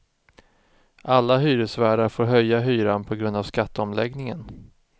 Alla hyresvärdar får höja hyran på grund av skatteomläggningen.